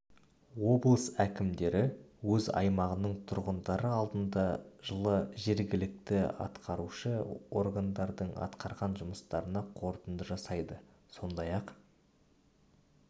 облыс әкімдері өз аймағының тұрғындары алдында жылы жергілікті атқарушы органдардың атқарған жұмыстарына қорытынды жасайды сондай-ақ